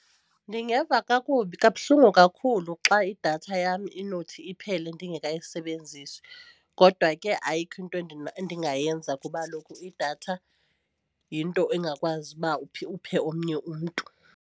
Ndingeva kakubi kabuhlungu kakhulu xa idatha yam inothi iphele ndingekayisebenzisi kodwa ke ayikho into endingayenza kuba kaloku idatha yinto engakwazi uba uphe omnye umntu.